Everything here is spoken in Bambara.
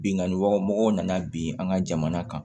Binganni waga mɔgɔw nana bin an ka jamana kan